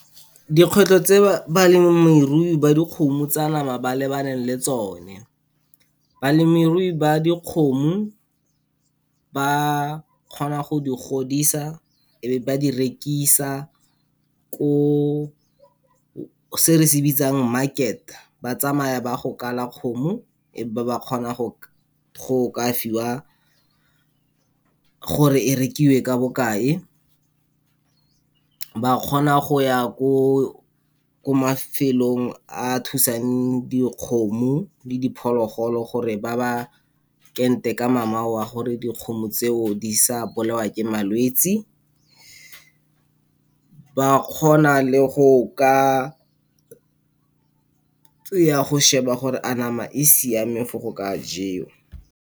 Dikgwetlho tse balemirui ba dikgomo tsa nama ba lebaneng le tsone, balemirui ba dikgomo ba kgona go di godisa, e be ba di rekisa, ko se re se bitsang market. Batsamaya ba ya go kala kgomo, e be ba kgona go ka fiwa gore e rekiwe ka bokae. Ba kgona go ya ko ko mafelong a thusang dikgomo le diphologolo gore ba ba ente ka mamao a gore dikgomo tseo, di sa bolewa ke malwetsi. Ba kgona le go ka ya go sheba gore a nama e siame for go ka jewa.